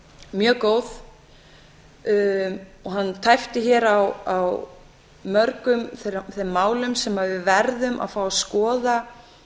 mjög góð og hann tæpti hér á mörgum þeim málum sem við verðum að fá að skoða